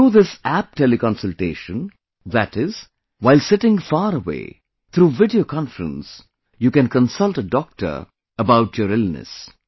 Through this App Teleconsultation, that is, while sitting far away, through video conference, you can consult a doctor about your illness